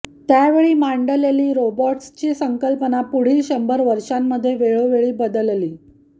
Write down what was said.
त्यावेळी मांडलेली रोबॉट्सची संकल्पना पुढील शंभर वर्षांमध्ये वेळोवेळी बदलली